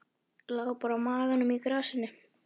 Lá bara á maganum í grasinu.